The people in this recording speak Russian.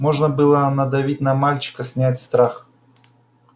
можно было надавить на мальчика снять страх